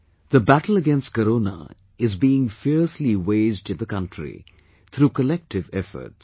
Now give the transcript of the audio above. The battle against Corona is being fiercely waged in the country through collective efforts